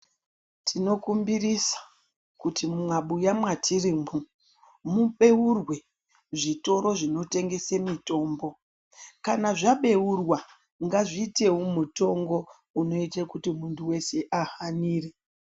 Tinokumbirisa kuti mumabuya mwatirimwo mubeurwe zvitoro zvinotengese mitombo kana zvabeurwa ngazviitewo mutongo unoite kuti muntu wese ahanire.